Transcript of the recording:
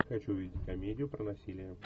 хочу увидеть комедию про насилие